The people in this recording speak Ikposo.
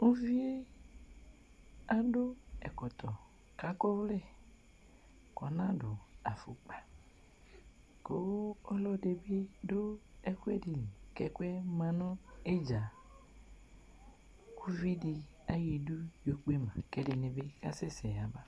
Uvi yɛ adʋ ɛkɔtɔ kʋ akɔ ɔvlɛ kʋ ɔnadʋ afʋkpa kʋ ɔlɔdɩ bɩ dʋ ɛkʋɛdɩ li kʋ ɛkʋ yɛ ma nʋ ɩdza Uvi dɩ ayɔ idu yɔkpe ma kʋ ɛdɩnɩ bɩ asɛsɛ yaba